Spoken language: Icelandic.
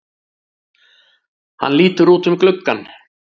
Hann lítur út um gluggann.